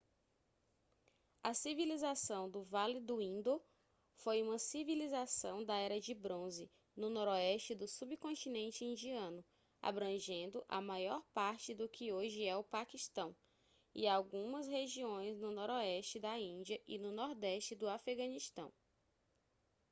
a civilização do vale do indo foi uma civilização da era de bronze no noroeste do subcontinente indiano abrangendo a maior parte do que hoje é o paquistão e algumas regiões no noroeste da índia e no nordeste do afeganistão